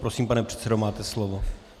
Prosím, pane předsedo, máte slovo.